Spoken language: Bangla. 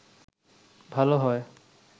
ভালো হয়